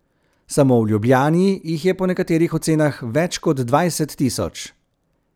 Samo v Ljubljani jih je po nekaterih ocenah več kot dvajset tisoč.